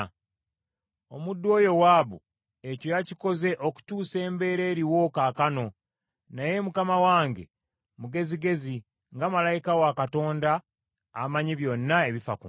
Omuddu wo Yowaabu, ekyo y’akikoze okukyusa embeera eriwo kaakano. Naye mukama wange mugezigezi nga malayika wa Katonda amanyi byonna ebifa ku nsi.”